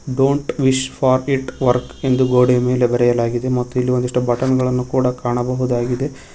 Don't wish for it work ಎಂದು ಗೋಡೆಯ ಮೇಲೆ ಬರೆಯಲಾಗಿದೆ ಮತ್ತು ಇಲ್ಲಿ ಒಂದಿಷ್ಟೂ ಬಟನ್ ಗಳನ್ನು ಕೂಡ ಕಾಣಬಹುದಾಗಿದೆ.